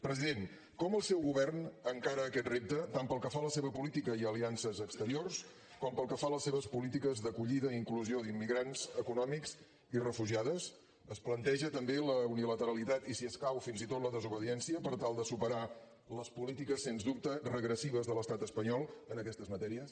president com el seu govern encara aquest repte tant pel que fa a la seva política i aliances exteriors com pel que fa a les seves polítiques d’acollida i inclusió d’immigrants econòmics i refugiades es planteja també la unilateralitat i si escau fins i tot la desobediència per tal de superar les polítiques sens dubte regressives de l’estat espanyol en aquestes matèries